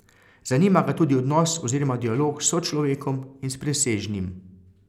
Zanima ga tudi odnos oziroma dialog s sočlovekom in s presežnim.